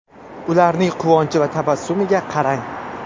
Ularning quvonchi va tabassumiga qarang!